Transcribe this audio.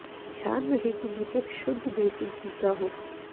ध्यान रहे कि दीपक शुद्ध देसी घी का हो